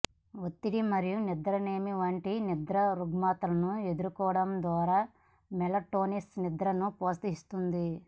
ఒత్తిడి మరియు నిద్రలేమి వంటి నిద్ర రుగ్మతలను ఎదుర్కోవడం ద్వారా మెలటోనిన్ నిద్రను ప్రోత్సహిస్తుంది